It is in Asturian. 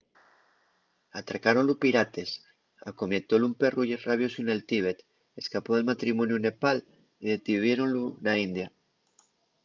atracáronlu pirates acometiólu un perru rabiosu nel tíbet escapó del matrimoniu en nepal y detuviéronlu na india